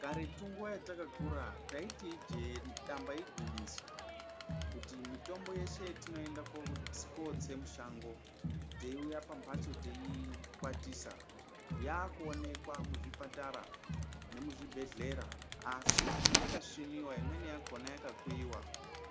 Karetu nguwa yatakakura taiti ijee damba igwinyiso, kuti mitombo yeshe yetinoenda kowotse musango, teiuya pambatso teiukwatisa, yakuonekwa muzvipatara nemuzvibhedhlera asi yakasviniwa imweni yakona yakakuyiwa